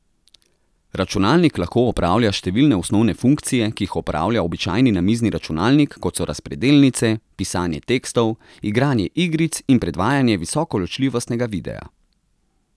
Računalnik lahko opravlja številne osnovne funkcije, ki jih opravlja običajni namizni računalnik, kot so razpredelnice, pisanje tekstov, igranje igric in predvajanje visokoločljivostnega videa.